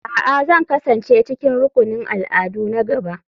A'a, Zan kasance cikin rukunin al'adu na gaba.